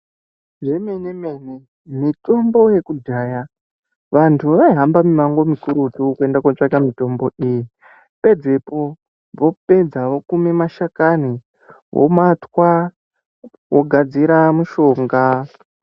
Zvemenemene, mitombo yekudhaya vantu vaihamba mimango mikurutu kuenda kootsvaka mitombo iyi. Pedzepo, vopedza vokuma mashakani, vomatwa, vogadzira mushonga